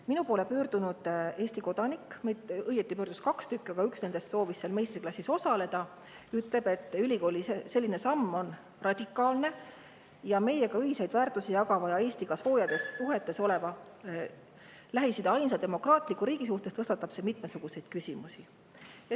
Minu poole pöördus üks Eesti kodanik, õieti pöördus neid kaks, aga üks nendest soovis seal meistriklassis osaleda ja ütles, et ülikooli selline radikaalne samm meiega ühiseid väärtusi jagava ja Eestiga soojades suhetes oleva Lähis-Ida ainsa demokraatliku riigi suhtes tõstatab mitmesuguseid küsimusi.